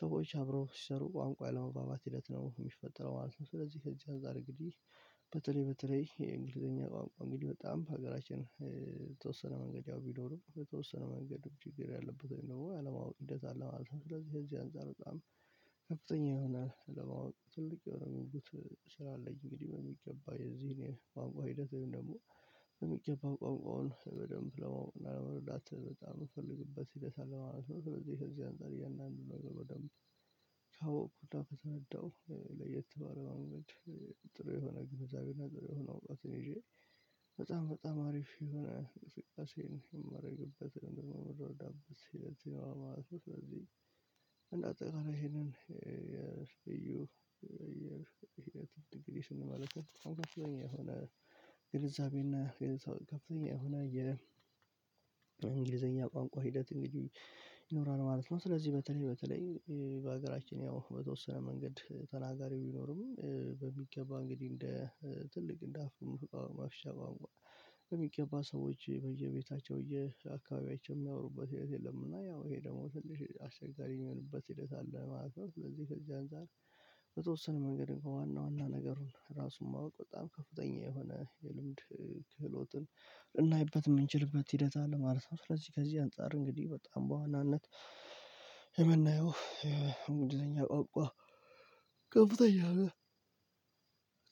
ሰዎች አብረው ሲሰሩ ቋንቋ ለመግባባት ሂደት ነው የሚፈጠረው ማለት ነው። ስለዚህ ከዚህ አንፃር እንግዲ በተለይ በተለይ የእንግሊዘኛ ቋንቋ እንግዲ በጣም በሀገራችን የተወሰነ መንገድ ያው ቢኖርም የተወሰነ መንገድም ችግር ያለበት ደግሞ ያለማወቅ ሂደት አለ ማለት ነው። ስለዚህ ከዚህ አንፃር በጣም ከፍተኛ የሆነ ለማወቅ ትልቅ የሆነ ጉጉት ስላለኝ እንግዲ በሚገባ የዚህን የቋንቋ ሂደት ወይም ደግሞ በሚገባ ቋንቋውን በደንብ ለማወቅና ለመረዳት በጣም የምፈልግበት ሂደት አለ ማለት ነው። ስለዚህ ከዚህ አንፃር እያንዳንዱን ነገር በደንብ ካወኩና ከተረዳው ለየት ባለ መንገድ ጥሩ የሆነ ግንዛቤና ጥሩ የሆነ እውቀትን ይዤ በጣም በጣም አሪፍ የሆነ እንቅስቃሴን የማደርግበት ወይም ደግሞ የምረዳበት ሂደት ይኖራል ማለት ነው። ስለዚህ እንዳጠቃላይ ይህንን የ ልዩ ሂደት ዲግሪ ስንመለከት በጣም ከፍተኛ የሆነ ግንዛቤና ከፍተኛ የሆነ እንግሊዘኛ ቋንቋ ሂደት እንግዲ ይኖራል ማለት ነው። ስለዚህ በተለይ በተለይ በሀገራችን ያው በተወሰነ መንገድ ተናጋሪ ቢኖርም በሚገባ እንግዲህ እንደ ትልቅ እንደ አፍ መፍቻ ቋንቋ በሚገባ ሰዎች በየቤታቸው የአካባቢያቸው የሚያወሩበት ሂደት የለምና ያው ይሄ ደግሞ ትንሽ አስቸጋሪ የሚሆንበት ሂደት አለ ማለት ነው። ስለዚህ ከዚህ አንፃር በተወሰነ መንገድ ከዋና ዋና ነገሩን ራሱን ማወቅ በጣም ከፍተኛ የሆነ የልምድ ክህሎትን ልናይበት የምንችልበት ሂደት አለ ማለት ነው። ስለዚህ ከዚህ አንፃር እንግዲህ በጣም በዋናነት የምናየው እንግሊዝኛ ቋንቋ ከፍተኛ ነው።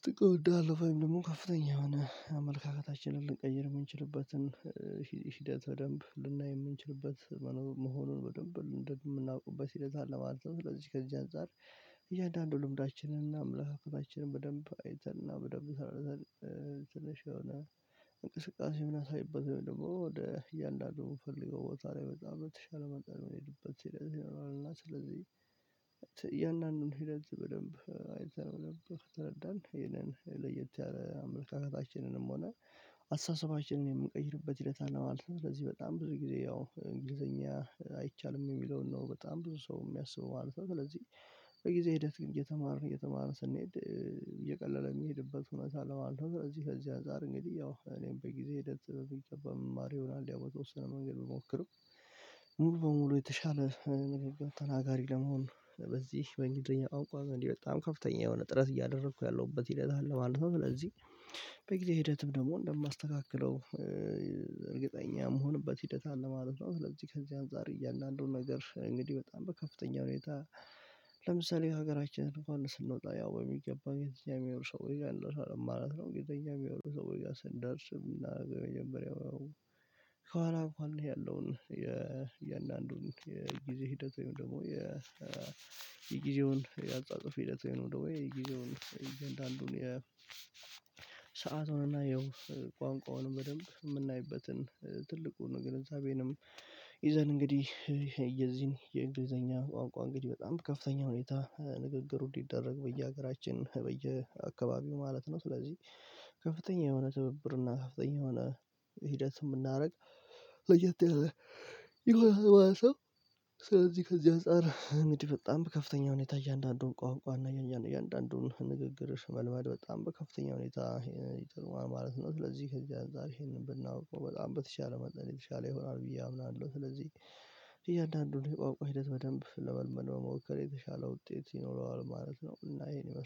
ጥቅም እንዳለው ወይም ደግሞ ከፍተኛ የሆነ አመለካከታችንን ልንቀይር የምንችልበትን ሂ ሂደት በደንብ ልናይ የምንችልበት መኖር መሆኑን በደንብ እንደ የምናውቅበት ሂደት አለ ማለት ነው። ስለዚህ ከዚህ አንፃር እያንዳንዱ ልምዳችንን እና አመለካከታችንን በደንብ አይተነን እና በደንብ ተረድተን ትንሽ የሆነ እንቅስቃሴ የምናሳይበት ወይም ደግሞ ወደ እያንዳንዱ የምንፈልገው ቦታ ላይ በጣም በተሻለ መጠን የምንሄድበት ሂደት ይኖራል። እና ስለዚህ እያንዳንዱን ሂደት በደንብ አይተነው ነበር ከተረዳን ይሄንን ለየት ያለ አመለካከታችንንም ሆነ አስተሳሰባችንን የምንቀይርበት ሂደት አለ ማለት ነው። ስለዚህ በጣም ብዙ ጊዜ ያው እንግሊዝኛ አይቻልም የሚለውን ነው በጣም ብዙ ሰው የሚያስበው ማለት ነው። ስለዚህ በጊዜ ሂደት ግን እየተማርን እየተማርን ስንሄድ እየቀለለ የሚሄድበት ሁነት አለ ማለት ነው። ስለዚህ ከዚህ አንፃር እንግዲህ ያው እኔም በጊዜ ሂደት በሚገባ የምማር ይሆናል ያው በተወሰነ መንገድ ብሞክርም ሙሉ በሙሉ የተሻለ ንግግር ተናጋሪ ለመሆን በዚህ በእንግሊዝኛ ቋንቋ እኔ በጣም ከፍተኛ የሆነ ጥረት እያደረኩ ያለሁበት ሂደት አለ ማለት ነው። ስለዚህ በጊዜ ሂደትም ደግሞ እንደማስተካክለው እርግጠኛ የምሆንበት ሂደት አለ ማለት ነው። ስለዚህ ከዚህ አንፃር እያንዳንዱን ነገር እንግዲህ በጣም በከፍተኛ ሁኔታ ለምሳሌ ሀገራችንን እንኳን ስንወጣ ያው በሚገባ ትክክል የሚወያሩ ሰዎች እንደርሳለን ማለት ነው። እንግሊዝኛ የሚያወሩ ሰዎች ስንደርስ የምናደረገው የመጀመሪያው ከኋላ እንኳን ያለውን የእያንዳንዱን የጊዜ ሂደት ወይም ደግሞ የጊዜውን የአጻጽፍ ሂደት ወይም ደግሞ የጊዜውን እያንዳንዱን የ ሰአቱን እና ያው ቋንቋውንም በደንብ የምናይበትን ትልቁን ግንዛቤንም ይዘን እንግዲህ የዚህን የእንግሊዘኛ ቋንቋ እንግዲህ በጣም ከፍተኛ ሁኔታ ንግግሩ እንዲደረግ በየሀገራችን በየአካባቢው ማለት ነው። ስለዚህ ከፍተኛ የሆነ ትብብር እና ከፍተኛ የሆነ ሂደት የምናደርግ ለየት ያለ ይሆናል። ሰው ስለዚህ ከዚህ አንፃር እንግዲህ በጣም በከፍተኛ ሁኔታ እያንዳንዱን ቋንቋና እያንዳንዱን ንግግር መልመድ በጣም በከፍተኛ ሁኔታ ይጠቅማል ማለት ነው። ስለዚህ ከዚህ አንፃር ይሄንን ብናውቀው በጣም በተቻለ መጠን የተሻለ ይሆናል ብዬ አምናለሁ። ስለዚህ እያንዳንዱን የቋንቋ ሂደት በደንብ ለመልመድ መሞከር የተሻለ ውጤት ይኖረዋል ማለት ነው። እና ይሄን ይመስላል